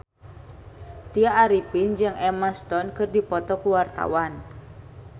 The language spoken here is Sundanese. Tya Arifin jeung Emma Stone keur dipoto ku wartawan